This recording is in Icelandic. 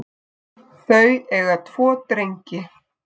Þau eiga tvo drengi